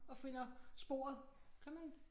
Og finder sporet kan man